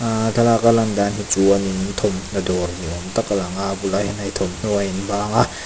ahh thlalak a lan dan hi chuanin thawmhnaw dawr ni awm tak a lang a a bulah hian hei thawmhnaw a in bang a.